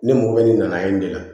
Ne mɔgɔ bɛ nin na yen de la